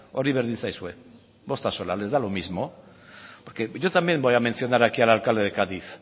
hori berdin zaizue bost axola les da lo mismo porque yo también voy a mencionar aquí ahora al alcalde de cádiz